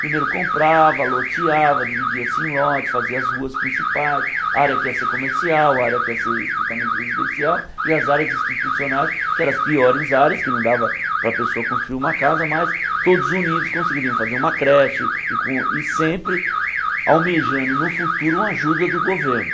Primeiro comprava, loteava, dividia-se em lotes, fazia as ruas principais, área que ia ser comercial, área que ia ser estritamente residencial e as áreas institucionais, que eram as piores áreas, que não dava para a pessoa construir uma casa, mas todos unidos conseguiriam fazer uma creche e com e sempre almejando no futuro uma ajuda do governo.